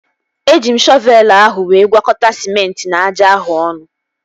Eji m shọvelu ahụ wee gwakọta sịmenti na aja ahụ ọnụ